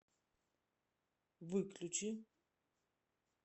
выключи